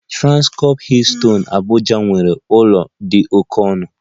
Transcorp Hilton Abuja nwere ụlọ dị oke ọnụ